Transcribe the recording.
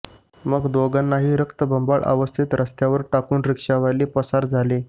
मग दोघांनाही रक्तबंबाळ अवस्थेत रस्त्यावर टाकून रिक्षावाले पसार झाले